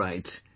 Alright